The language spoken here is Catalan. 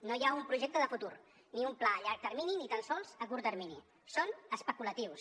no hi ha un projecte de futur ni un pla a llarg termini ni tan sols a curt termini són especulatius